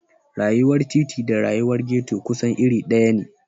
Rayuwar titi da rayuwar ghetto kusan iri ɗaya ne.